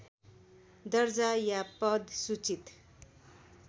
दर्जा या पद सूचित